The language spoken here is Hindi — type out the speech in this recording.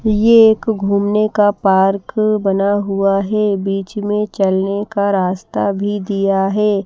ये एक घूमने का पार्क बना हुआ है बीच में चलने का रास्ता भी दिया है।